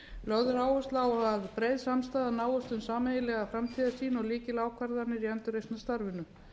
lögð er áhersla á að breið samstaða náist um sameiginlega framtíðarsýn og lykilákvarðanir í endurreisnarstarfinu